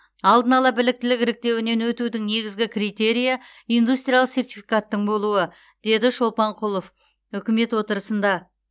алдын ала біліктілік іріктеуінен өтудің негізгі критерийі индустриялық сертификаттың болуы деді шолпанқұлов үкімет отырысында